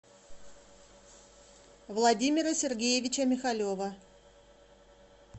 владимира сергеевича михалева